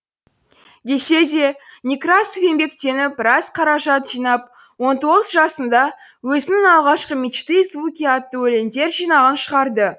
десе де некрасов еңбектеніп біраз қаражат жинап он тоғыз жасында өзінің алғашқы мечты и звуки атты өлеңдер жинағын шығарды